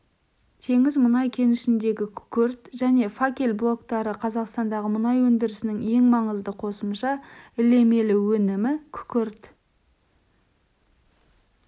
теңіз мұнай кенішіндегі күкірт және факел блоктары қазақстандағы мұнай өндірісінің ең маңызды қосымша ілемелі өнімі күкірт